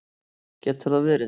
Getur það verið?